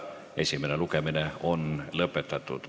Esimene lugemine on lõpetatud.